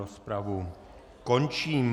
Rozpravu končím.